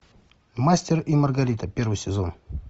мастер и маргарита первый сезон